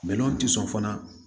tɛ sɔn fana